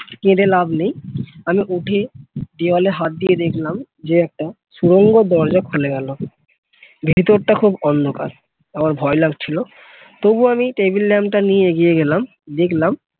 কেঁদে লাভ নেই আমি উঠে দেওয়ালে হাত দিয়ে দেখলাম যে একটা সুরঙ্গ দরজা খুলে গেল ভিতরটা খুব অন্ধকার আমার ভয় লাগছিল তবুও আমি table lamp টা নিয়ে এগিয়ে গেলাম দেখলাম